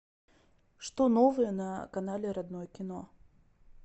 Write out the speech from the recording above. что новое на канале родное кино